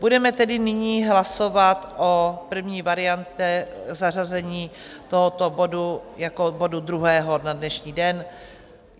Budeme tedy nyní hlasovat o první variantě, zařazení tohoto bodu jako bodu druhého na dnešní den.